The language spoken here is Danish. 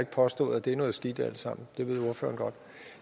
påstået at det er noget skidt alt sammen